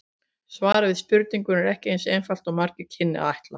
Svarið við spurningunni er ekki eins einfalt og margur kynni að ætla.